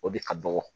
O de ka dɔgɔ